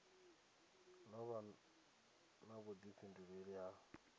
ḓo vha na vhuḓifhinduleli ha